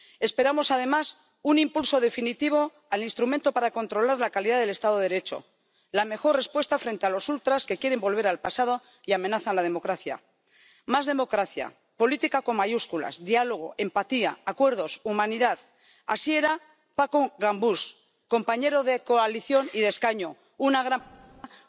Esperamos además un impulso definitivo al instrumento para controlar la calidad del Estado de Derecho, la mejor respuesta frente a los ultras que quieren volver al pasado y amenazan la democracia. Más democracia, política con mayúsculas, diálogo, empatía, acuerdos, humanidad así era Paco Gambús, compañero de coalición y de escaño, una gran persona.